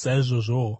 Saizvozvowo,